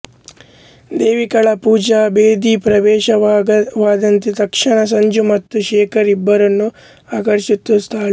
ದೇವಿಕಾಳ ಪೂಜಾ ಬೇದಿ ಪ್ರವೇಶವಾದಂತೆ ತಕ್ಷಣ ಸಂಜು ಮತ್ತು ಶೇಖರ್ ಇಬ್ಬರನ್ನೂ ಆಕರ್ಷಿಸುತ್ತಾಳೆ